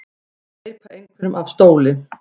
Að steypa einhverjum af stóli